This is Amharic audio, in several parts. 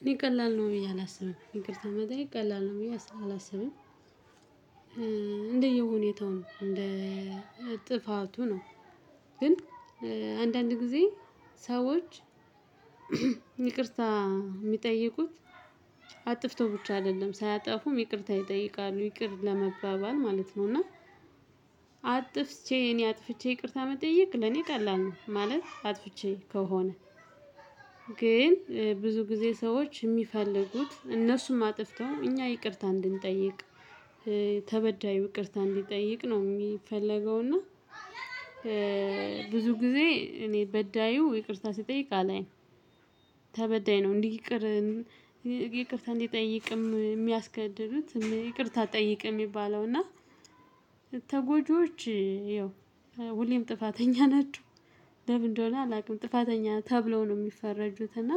እኔ ቀላል ነው ብዬ አላስብም ይቅርታ መጠየቅ ቀላል ነው ብዬ አላስብም። እንደየ ሁኔታው እንደ ጥፋቱ ነው። ግን አንዳንድ ጊዜ ሰዎች ይቅርታ ሚጠይቁት አጥፍተው ብቻ አይደለም ሳያጠፉም ይቅርታ ይጠይቃሉ ይቅር ለመባባል ማለት ነው። እና አጥፍቼ እኔ አጥፍቼ ይቅርታ መጠየቅ ለኔ ቀላል ነው። ማለት አጥፍቼ ከሆነ። ግን ብዙ ጊዜ ሰዎች የሚፈልጉት እነሱም አጥፍተው እኛ ይቅርታ እንድንጠይቅ ተበዳዩ ይቅርታ እንዲጠይቅ ነው ሚፈልገው። እና ብዙ ጊዜ እኔ በዳዩ ይቅርታ ሲጠይቅ አለኝ። ተበዳይ ነው። ይቅርታ እንዲጠይቅም የሚያስገድዱት ይቅርታ አጠይቅም ሚባለው። እና ተጎጂዎች ይኸው ሁሌም ጥፋተኛ ናችሁ ለምን እንደሆነ አላውቅም ጥፋተኛ ተብለው ነው የሚፈረጁት። እና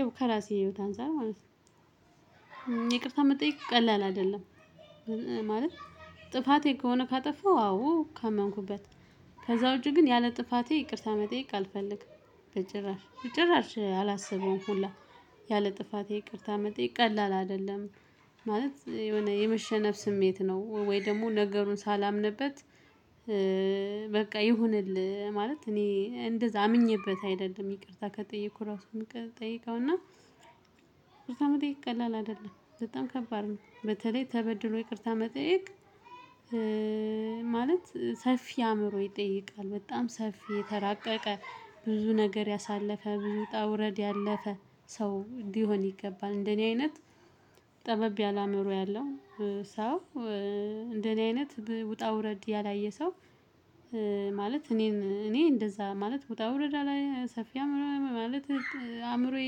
ያው ከራሴ ሂወት አንፃር ማለት ነው ይቅርታ የመጠየቅ ቀላል አይደለም። ማለት ጥፋቴ ከሆነ ካጠፋው አዎ ካመንኩበት ከዛ ውጪ ግን ያለ ጥፋቴ ይቅርታ መጠየቅ አልፈልግም። በጭራሽ ጭራሽ አላስበውም። ሁላ ያለ ጥፋቴ ይቅርታ መጠየቅ ቀላል አይደለም። ማለት የሆነ የመሸነፍ ስሜት ነው ወይ ደግሞ ነገሩን ሳላምንበት። በቃ ይሁንልህ ማለት እኔ እንደዛ አምኜበት አይደለም ይቅርታ ከጠየኩ ራሱን ምጠይቀውና። ቅርታ መጠየቅ ቀላል አይደለም በጣም ከባድ ነው። በተለይ ተበድሎ ይቅርታ መጠየቅ። ማለት ሰፊ አእምሮ ይጠይቃል በጣም ሰፊ የተራቀቀ ብዙ ነገር ያሳለፈ ብዙ ወጣ ውረድ ያለፈ ሰው እንዲሆን ይገባል። እንደኔ አይነት ጠበብ ያላመሩ ያለው ሰው እንደኔ አይነት ውጣ ውረድ ያላየ ሰው። ማለት እኔ እንደዛ ማለት ወጣ ወረድ አላየሁም። ሰፊ አምሮ ማለት አእምሮዬ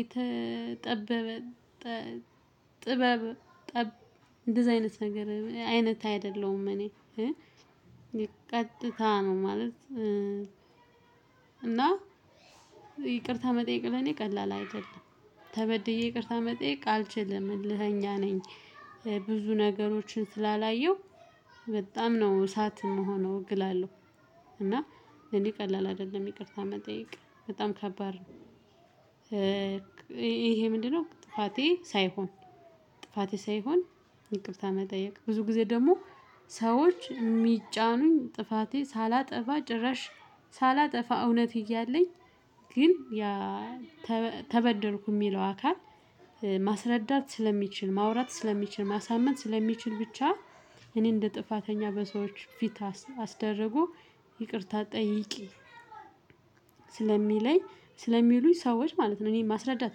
የተጠበበ እንደዛ አይነት ነገር አይነት አይደለሁም። እኔ ቀጥታ ነው ማለት። እና ይቅርታ መጠየቅ ለኔ ቀላል አይደለም። ተበድዬ ይቅርታ መጠየቅ አልችልም ዕልህኛ ነኝ። ብዙ ነገሮችን ስላላየሁ በጣም ነው እሳት ምሆነው እግላለሁ። እና እንዲህ ቀላል አይደለም ይቅርታ መጠየቅ በጣም ከባድ ነው። ይሄ ምንድነው? ጥፋቴ ሳይሆን ጥፋቴ ሳይሆን ይቅርታ መጠየቅ ብዙ ጊዜ ደግሞ ሰዎች ሚጫኑኝ ጥፋቴ ሳላጠፋ ጭረሽ። ሳላጠፋ እውነት እያለኝ ግን ያ ተበደልኩየ ሚለው አካል ማስረዳት ስለሚችል ማውራት ስለሚችል ማሳመን ስለሚችል ብቻ። እኔ እንደ ጥፋተኛ በሰዎች ፊት አስደርጎ ይቅርታ ጠይቂ ስለሚለኝ ስለሚሉኝ ሰዎች ማለት ነው። እኔ ማስረዳት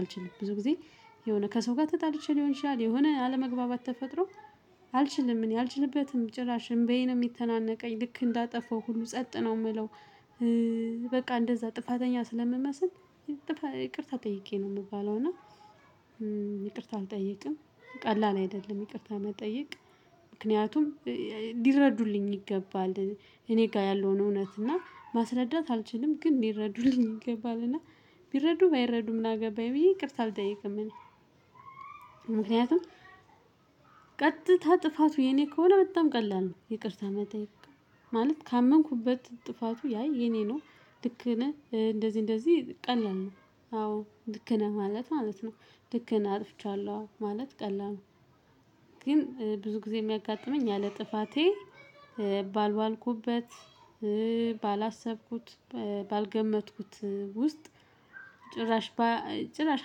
አልችልም ብዙ ጊዜ። የሆነ ከሰው ጋር ተጣልቸ ሊይሆን ይችላል የሆነ አለመግባባት ተፈጥሮ። አልችልም እኔ አልችልበትም ጭራሽ እምባዬ ነው የሚተናነቀኝ ልክ እንዳጠፋው ሁሉ ጸጥ ነው ምለው። በቃ እንደዛ ጥፋተኛ ስለምመስል ይቅርታ ጠይቂ ነው የምባለው። እና ይቅርታ አልጠይቅም ቀላል አይደለም ይቅርታ መጠየቅ። ምክንያቱም ሊረዱልኝ ይገባል እኔ ጋር ያለውን እውነት እና ማስረዳት አልችልም ግን ሊረዱልኝ ይገባል እና ቢረዱ ባይረዱም ምና ገባኝ ብዬ ይቅርታ አልጠይቅም። ምክንያቱም ቀጥታ ጥፋቱ የኔ ከሆነ በጣም ቀላል ነው። ይቅርታ መጠየቅ ማለት ካመንኩበት ጥፋቱ አይ የኔ ነው። ልክነህ እንደዚ እንደዚ ቀላል ነው። አዎ ልክነህ ማለት ማለት ነው። ልክነህ አጥፍቻለሁ ማለት ቀላል ነው። ግን ብዙ ጊዜ የሚያጋጥመኝ ያለ ጥፋቴ ባልዋልኩበት ባላሰብኩት ባልገመትኩት ውስጥ ጭራሽ ጭራሽ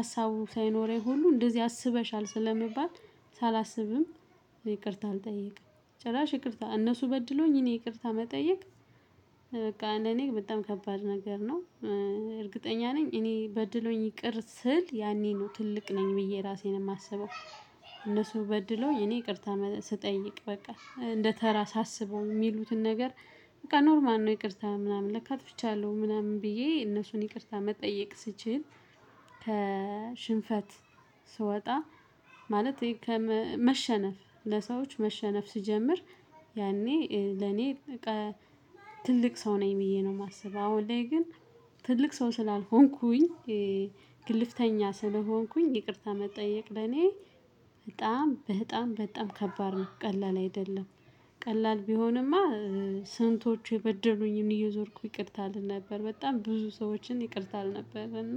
ሀሳቡ ሳይኖረኝ ሁሉ እንደዚህ አስበሻል ስለመባል ሳላስብም ይቅርታ አልጠይቅም። ጭራሽ ይቅርታ እነሱ በድሎኝ እኔ ይቅርታ መጠየቅ በቃ ለኔ በጣም ከባድ ነገር ነው። እርግጠኛ ነኝ እኔ በድለዎኝ ይቅር ስል ያኔ ነው ትልቅ ነኝ ብዬ ራሴን የማስበው። እነሱ በድለዎኝ እኔ ይቅርታ ስጠይቅ በቃ እንደተራ ሳስበው የሚሉትን ነገር። በቃ ኖርማል ነው ይቅርታ ምናምን ለካ አጥፍቻለሁ ምናምን ብዬ እነሱን ይቅርታ መጠየቅ ስችል። ከሽንፈት ስወጣ ማለት መሸነፍ ለሰዎች መሸነፍ ስጀምር። ያኔ ለኔ ትልቅ ሰው ነኝ ብዬ ነው የማስበው። አሁን ላይ ግን ትልቅ ሰው ስላልሆንኩኝ ግልፍተኛ ስለሆንኩኝ ይቅርታ መጠየቅ ለኔ በጣም በጣም ከባድ ነው ቀላል አይደለም። ቀላል ቢሆንማ ስንቶች የበደሉኝን እየዞርኩን ይቅርታ እል ነበር በጣም ብዙ ሰዎኝ ይቅርታ እል ነበር። እና